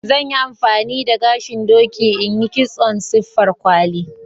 zan Yi amfani da gashin doki in yi kitson siffar kwali.